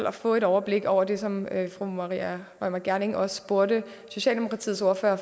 at få et overblik over det som fru maria reumert gjerding også spurgte socialdemokratiets ordfører